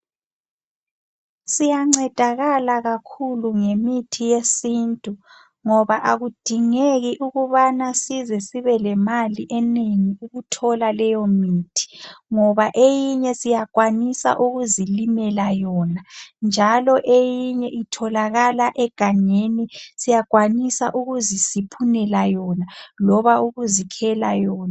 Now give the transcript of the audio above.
Siyancedakala kakhulu ngemithi yesintu, ngoba akudingeki ukubana size sibelemali enengi, ukuthola leyomithi. Ngoba eyinye siyakwanisa ukuzilimela yona. Njalo emunye itholakala egangeni. Siyakwanisa ukuzisiphunela yona. Loba ukuzikhela yona.